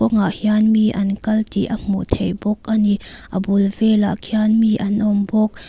ah hian mi an kal tih a hmuh theih bawk a ni a bul velah khian mi an awm bawk.